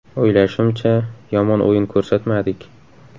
− O‘ylashimcha, yomon o‘yin ko‘rsatmadik.